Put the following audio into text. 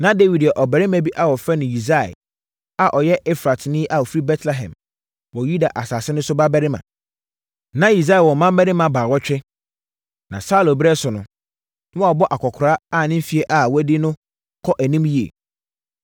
Na Dawid yɛ ɔbarima bi a wɔfrɛ no Yisai a ɔyɛ Efratni na ɔfiri Betlehem wɔ Yuda asase so no babarima. Na Yisai wɔ mmammarima baawɔtwe, na Saulo berɛ so no, na wabɔ akɔkoraa a ne mfeɛ a wadi no kɔ anim yie.